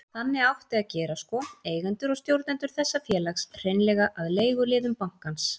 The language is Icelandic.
Þannig átti að gera sko, eigendur og stjórnendur þessa félags, hreinlega að leiguliðum bankans.